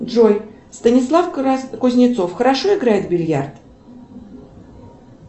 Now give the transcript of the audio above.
джой станислав кузнецов хорошо играет в бильярд